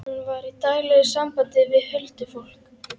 Hann var í daglegu sambandi við huldufólk.